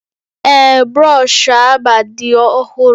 Ee, brọsh agba dị ọhụrụ